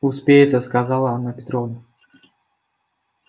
успеется сказала анна петровна